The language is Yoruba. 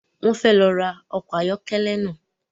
Wọn fẹ ló rá ọkọ ayọkẹlẹ náà